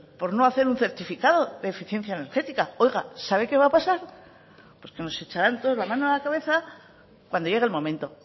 por no hacer un certificado de eficiencia energética sabe que va a pasar pues que nos echarán todos la mano a la cabeza cuando llegue el momento